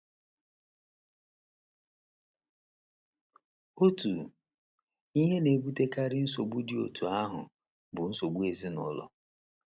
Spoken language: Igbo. Otu ihe na - ebutekarị nsogbu dị otú ahụ bụ nsogbu ezinụlọ.